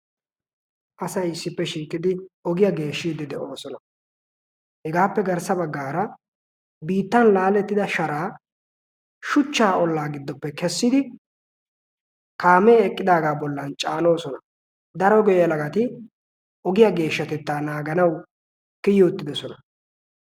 asai issippe shiiqqidi ogiyaa geeshshiiddi de7oosona. hegaappe garssa baggaara biittan laalettida sharaa shuchchaa ollaa giddoppe kessidi kaamee eqqidaagaa bollan caaloosona. daro geehalagati ogiyaa geeshshatettaa naaganau kiyi uttidosona.